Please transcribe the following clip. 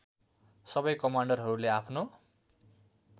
सबै कमान्डरहरूले आफ्नो